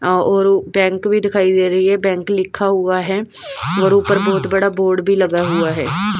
अ और बैंक भी दिखाई दे रही है बैंक लिखा हुआ है और ऊपर बहुत बड़ा बोर्ड भी लगा हुआ है।